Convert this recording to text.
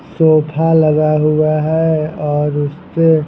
sofa लगा हुआ है और उससे--